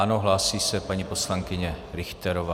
Ano, hlásí se paní poslankyně Richterová.